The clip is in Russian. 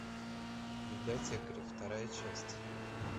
библиотекари вторая часть